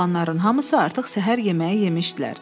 Oğlanların hamısı artıq səhər yeməyi yemişdilər.